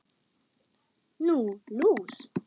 Nú, lús